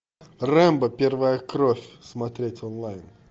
рэмбо первая кровь смотреть онлайн